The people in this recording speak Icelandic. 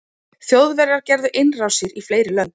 þjóðverjar gerðu innrásir í fleiri lönd